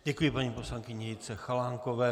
Děkuji paní poslankyni Jitce Chalánkové.